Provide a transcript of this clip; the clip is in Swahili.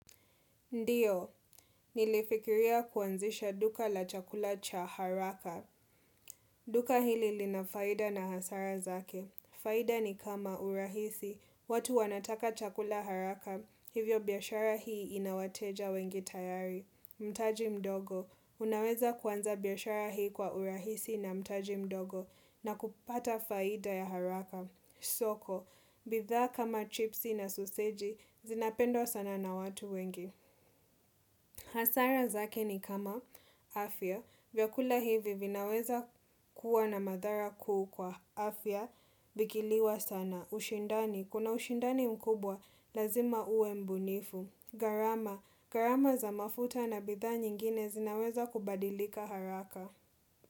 Ndiyo, nilifikiria kuanzisha duka la chakula cha haraka. Duka hili linafaida na hasara zake. Faida ni kama urahisi. Watu wanataka chakula haraka, hivyo biashara hii inawateja wengi tayari. Mtaji mdogo, unaweza kwanza biashara hii kwa urahisi na mtaji mdogo na kupata faida ya haraka. Soko, bidhaa kama chipsi na soseji, zinapendwa sana na watu wengi. Hasara zake ni kama afya, vya kula hivi vinaweza kuwa na madhara kuu kwa afya, vikiliwa sana, ushindani, kuna ushindani mkubwa, lazima uwe mbunifu, gharama, gharama za mafuta na bidhaa nyingine zinaweza kubadilika haraka.